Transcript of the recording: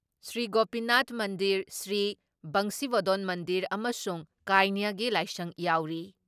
ꯁ꯭ꯔꯤ ꯒꯣꯄꯤꯅꯥꯊ ꯃꯟꯗꯤꯔ, ꯁ꯭ꯔꯤ ꯕꯪꯁꯤꯕꯣꯗꯣꯟ ꯃꯟꯗꯤꯔ ꯑꯃꯁꯨꯡ ꯀꯩꯅ꯭ꯌꯒꯤ ꯂꯥꯏꯁꯪ ꯌꯥꯎꯔꯤ ꯫